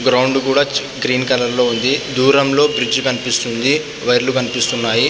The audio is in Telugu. గ్రౌండ్ కూడా గ్రీన్ కలర్ లో ఉంది. బ్లూ రంగులో బ్రిడ్జ్ కనిపిస్తుంది. వైర్ లు కనిపిస్తున్నాయి.